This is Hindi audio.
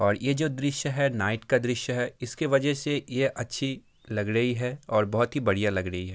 और ये जो है दृश्य है नाईट का दृश्य है और इसके वजह से अच्छी लग रही है और बहुत ही बढ़िया लग रही है।